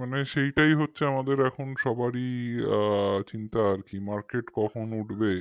মানে সেইটাই হচ্ছে আমাদের সবারই চিন্তা আর কি market কখন উঠবে